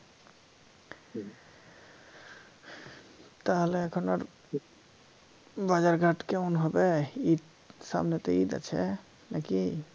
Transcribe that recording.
তাহলে এখন আর বাজার ঘাট কেমন হবে ইদ সামনে তো ইদ আছে নাকি